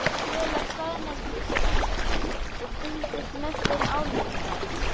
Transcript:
Kela staðnæmdist hann og fylgdist með þeim álengdar.